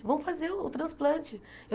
Vamos fazer o transplante.